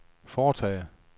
foretage